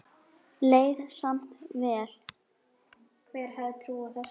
Leið samt vel.